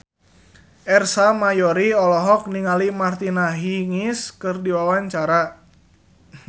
Ersa Mayori olohok ningali Martina Hingis keur diwawancara